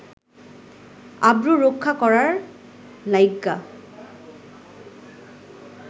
আব্রু রক্ষা করার লাইগ্যা